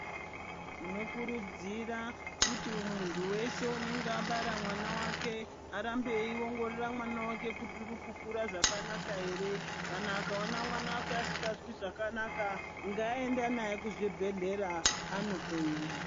Tinokurudzira kuti muntu weshe unenge abara mwana wake arambe eyiongorora mwana wake kuti uri kukura zvakanaka here. Kana akaona mwana wake asingazwi zvakanaka, ngaaende naye kuzvibhedhlera anohloyiwa.